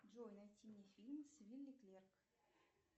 джой найти мне фильм с вилли клерк